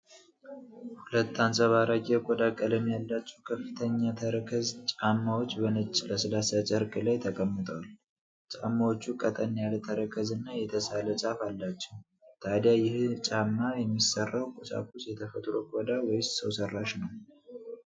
ሁለት አንጸባራቂ የቆዳ ቀለም ያላቸው ከፍተኛ ተረከዝ ጫማዎች በነጭ ለስላሳ ጨርቅ ላይ ተቀምጠዋል። ጫማዎቹ ቀጠን ያለ ተረከዝ እና የተሳለ ጫፍ አላቸው። ታዲያ ይህን ጫማ የሚሠራው ቁሳቁስ የተፈጥሮ ቆዳ ወይስ ሰው ሠራሽ ነው?